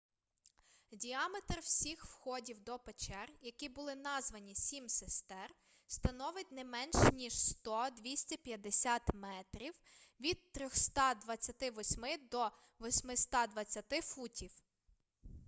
діаметр всіх входів до печер які були названі сім сестер становить не менш ніж 100-250 метрів від 328 до 820 футів